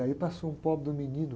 E aí passou um pobre de um menino,